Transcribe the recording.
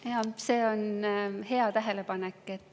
Jaa, see on hea tähelepanek.